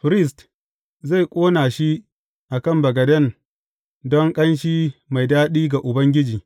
Firist zai ƙona shi a kan bagaden don ƙanshi mai daɗi ga Ubangiji.